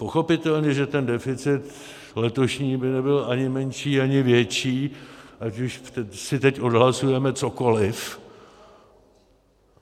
Pochopitelně že ten deficit letošní by nebyl ani menší, ani větší, ať už si teď odhlasujeme cokoliv.